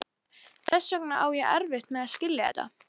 Þess vegna á ég erfitt með að skilja þetta.